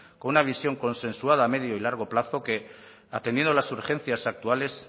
con una visión consensuada a medio y largo plazo que atendiendo a las urgencias actuales